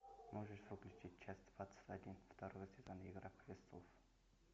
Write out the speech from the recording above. можешь выключить час двадцать один второй сезон игра престолов